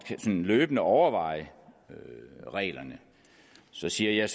løbende kan overveje reglerne så siger jeg